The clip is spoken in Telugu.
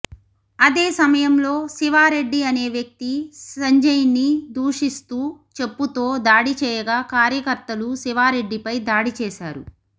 అదే సమయంలో శివారెడ్డి అనే వ్యక్తి సంజయ్ని దూషిస్తూ చెప్పుతో దాడి చేయగా కార్యకర్తలు శివారెడ్డిపై దాడి చేశారు